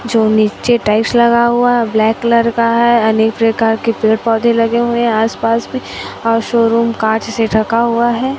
जो नीचे टाइल्स लगा हुआ ब्लैक कलर का है अनेक प्रकार के पेड़ पौधे लगे हुए है आस पास में और शोरूम कांच से ढका हुआ है।